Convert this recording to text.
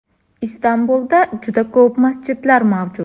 Istanbulda juda ko‘plab masjidlar mavjud.